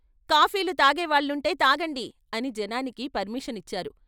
కాఫీలు తాగేవాళ్ళుంటే తాగండి ' అని జనానికి పర్మిషన్ ఇచ్చారు.